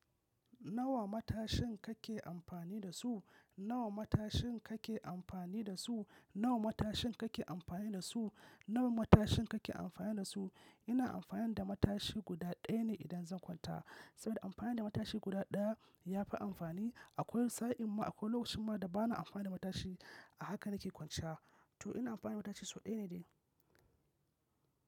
Nawa matashin kake amfani da su? Nawa matashin kake amfani da su? Nawa matashin kake amfani da su? Nawa matashin kake amfani da su? Ina amfani da matashi guda ɗaya ne idan zan kwanta. Saboda amfani da matashi guda ɗaya ya fi amfani. Akwai sa'in ma akwai lokacin ma da bana amfani da matashi. A haka na ke kwanciya. To ina amfani da matashi sau ɗaya ne dai.